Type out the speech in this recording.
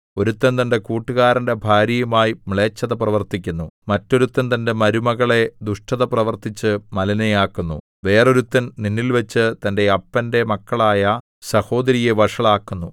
ഒരുത്തൻ തന്റെ കൂട്ടുകാരന്റെ ഭാര്യയുമായി മ്ലേച്ഛത പ്രവർത്തിക്കുന്നു മറ്റൊരുത്തൻ തന്റെ മരുമകളെ ദുഷ്ടത പ്രവർത്തിച്ച് മലിനയാക്കുന്നു വേറൊരുത്തൻ നിന്നിൽവച്ച് തന്റെ അപ്പന്റെ മകളായ സഹോദരിയെ വഷളാക്കുന്നു